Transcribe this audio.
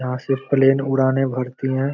यहाँ सिर्फ प्लेन उड़ाने भरती है।